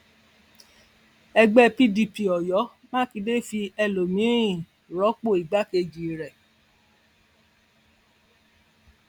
ẹgbẹ pdp oyo makinde fi ẹlòmíín rọpò igbákejì rẹ